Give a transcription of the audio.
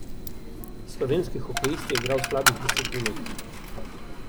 Slovenski hokejist je igral slabih deset minut.